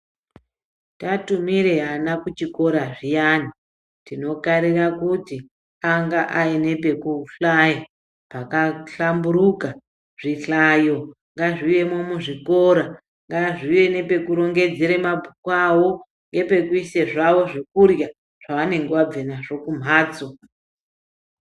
Tatumire vana kuchikora zviyani tinokarira kuti ange ane pekuhlaya pakahlamburika zvihlayo ngazviwemo muzvikora ngazviwe nepekurongedzera mabhuku awo ngepekuisa zvawo zvekurya zvavanenge vabva nazvo kumbatso.